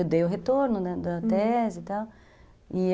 Eu dei o retorno, né, da tese e tal, e